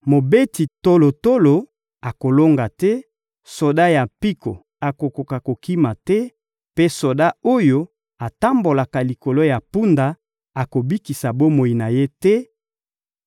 Mobeti tolotolo akolonga te, soda ya mpiko akokoka kokima te, mpe soda oyo atambolaka likolo ya mpunda akobikisa bomoi na ye te;